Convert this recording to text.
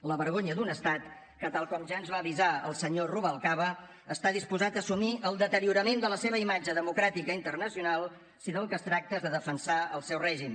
la vergonya d’un estat que tal com ja ens va avisar el senyor rubalcaba està disposat a assumir el deteriorament de la seva imatge democràtica internacional si del que es tracta és de defensar el seu règim